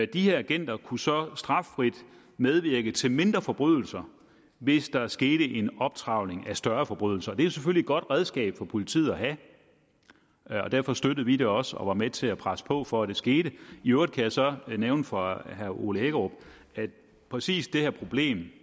de agenter kunne så straffrit medvirke til mindre forbrydelser hvis der skete en optrevling af større forbrydelser det er selvfølgelig et godt redskab for politiet at have og derfor støttede vi det også og var med til at presse på for at det skete i øvrigt kan jeg så nævne for herre ole hækkerup at præcis det her problem